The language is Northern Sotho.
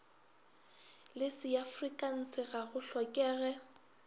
le seafrikanse ga go hlokege